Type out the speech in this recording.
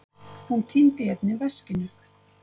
Hún týndi einnig veskinu